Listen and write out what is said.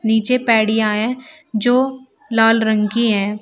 नीचे पैड़िया है जो लाल रंग की है।